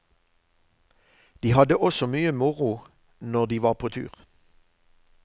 De hadde også mye moro når de var på tur.